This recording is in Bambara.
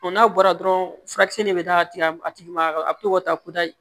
n'a bɔra dɔrɔn furakisɛ de bɛ taa tigɛ a tigi ma a bɛ to ka taa